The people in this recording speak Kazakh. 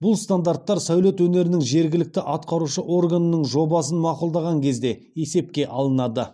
бұл стандарттар сәулет өнерінің жергілікті атқарушы органының жобасын мақұлдаған кезде есепке алынады